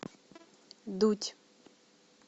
дудь